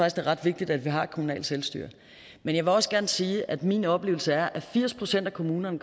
ret vigtigt at vi har et kommunalt selvstyre og jeg vil også gerne sige at min oplevelse er at firs procent af kommunerne